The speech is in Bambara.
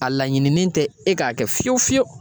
A laɲininen tɛ e ka kɛ fiyewu fiyewu.